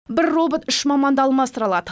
бір робот үш маманды алмастыра алады